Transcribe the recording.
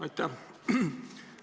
Aitäh!